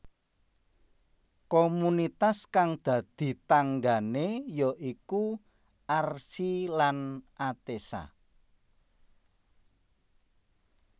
Komunitas kang dadi tanggané ya iku Archi lan Atessa